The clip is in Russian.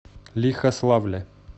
лихославля